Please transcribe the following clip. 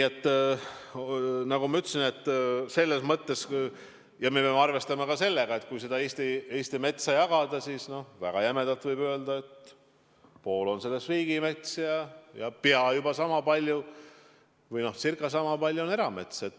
Ja nagu ma ütlesin, peame arvestama ka sellega, et kui Eesti metsa jagada, siis võib väga jämedalt öelda, et pool sellest on riigimets ja peaaegu sama palju on eramets.